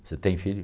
Você tem filho?